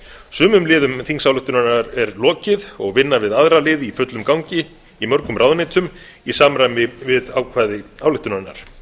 sumum liðum þingsályktunar er lokið og vinna við aðra liði í fullum gangi í mörgum ráðuneytum í samræmi við ákvæði ályktunarinnar þingsályktunin